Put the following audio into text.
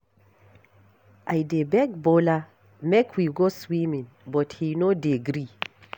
I dey beg Bola make we go swimming but he no dey gree.